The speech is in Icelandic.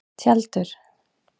Tjaldur